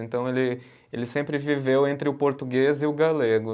Então ele, ele sempre viveu entre o português e o galego.